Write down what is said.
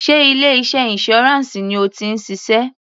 Sé ilé iṣẹ́ insurance ni o ti ń ṣiṣẹ́?